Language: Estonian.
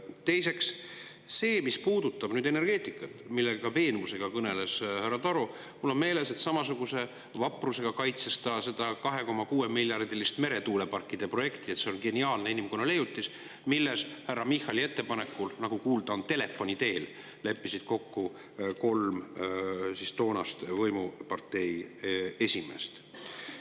Teiseks, mis puudutab energeetikat, millest suure veenvusega kõneles ka härra Taro – mul on meeles, et samasuguse vaprusega kaitses ta seda 2,6-miljardilist meretuuleparkide projekti, leides, et see on geniaalne inimkonna leiutis, milles härra Michali ettepanekul, nagu kuulda on, leppisid telefoni teel kokku kolm toonase võimupartei esimeest.